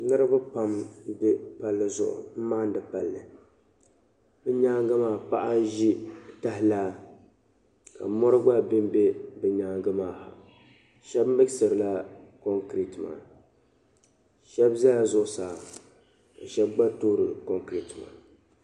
Niriba m-be palli zuɣu m-maandi palli. Bɛ nyaaŋga maa paɣa n-ʒi tahalaa ka mɔri gba bembe bɛ nyaaŋga maa. Shɛba miɣisirila kɔŋkireeti maa. shɛba zala zuɣusaa ka shɛba gba toori kɔŋkireeti maa.